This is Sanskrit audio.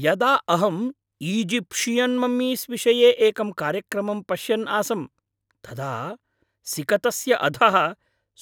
यदा अहम् ईजिप्षियन् मम्मीस् विषये एकं कार्यक्रमम् पश्यन् आसं तदा सिकतस्य अधः